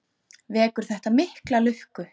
Vekur þetta mikla lukku.